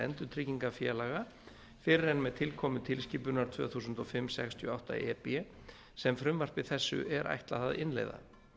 endurtryggingafélaga fyrr en með tilkomu tilskipunar tvö þúsund og fimm sextíu og átta e b sem frumvarpi þessu er ætlað að innleiða